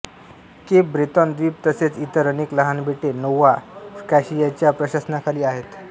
Cape Breton द्वीप तसेच इतर अनेक लहान बेटे नोव्हा स्कॉशियाच्या प्रशासनाखाली आहेत